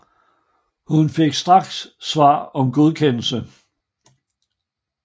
Hun fik straks svar om godkendelse